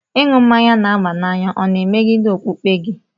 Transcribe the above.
Ịṅụ mmanya n'aba n'any na-emegide okpukpe gị?